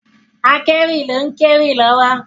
Akewi ló ń kéwì lọ́wọ́.